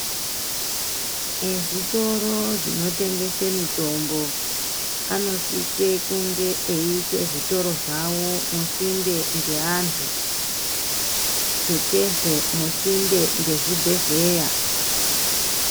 Ezvitoro zvinotengese mitombo anosise kunge eiise zvitoro zvavo musinde mweantu tutsezve musinde mwezvibhedhlera.